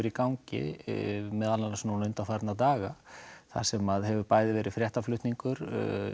í gangi meðal annars nú undanfarna daga þar sem hefur bæði verið fréttaflutningur